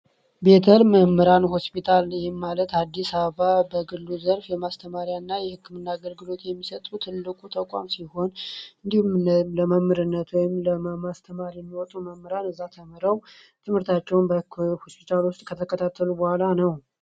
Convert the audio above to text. ቤተር ሆስፒታል በአዲስ አበባ የማስተማሪያና የህክምና አገልግሎት የሚሠጡ ትልቅ ተቋም ሲሆን እንዲሁም ለመምህርነት ወይም አስተማሪ ለሚሆኑ እዛው ተምረው ከሆስፒታሉ ከተከታተሉ በኋላ ነው።